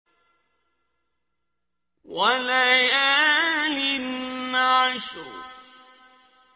وَلَيَالٍ عَشْرٍ